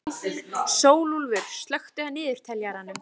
Sólúlfur, slökktu á niðurteljaranum.